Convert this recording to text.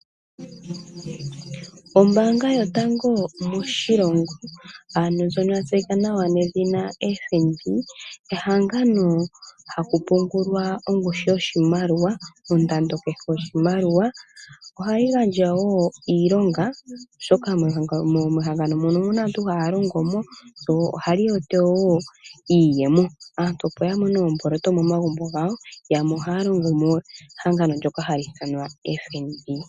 Ombaanga yotango moshilongo ano ndjono yatseyika nawa oFNB, ehangano haku pungulwa ongushu yoshimaliwa, ondando kehe yoshimaliwa, ohayi gandja woo iilonga oshoka mehangano mono omuna aantu haya longo mo mbyoka ohali oto woo iiyemo aantu opo ya mone omboloto momagumbo gawo mo haya longo mo mehangano lyoka hali ithanwa FNB.